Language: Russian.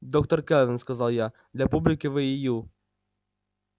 доктор кэлвин сказал я для публики вы и ю